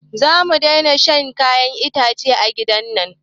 Zamu daina shan kayan itace a gidan nan